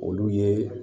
Olu ye